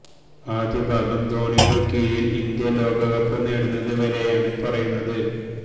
ആദ്യ ഭാഗം ധോണിയുടെ കീഴില് ഇന്ത്യ ലോകകപ്പ് നേടുന്നത് വരെയാണ് പറയുന്നത്